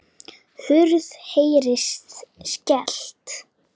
Hurð heyrist skellt.